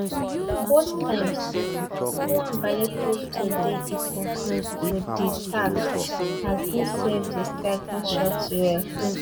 both times nwabali prove to dey equal to di task as e save di striker shots well